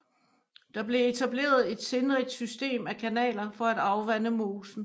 Der blev etableret et sindrigt system af kanaler for at afvande mosen